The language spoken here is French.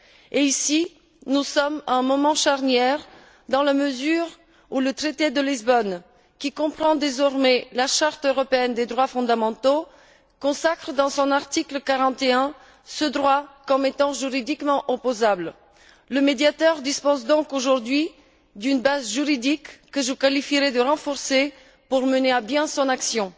Et ici, nous sommes à un moment charnière dans la mesure où le traité de Lisbonne, qui comprend désormais la Charte européenne des droits fondamentaux, consacre à son article 41 ce droit comme étant juridiquement opposable. Le Médiateur dispose donc aujourd'hui d'une base juridique que je qualifierai de renforcée pour mener à bien son action.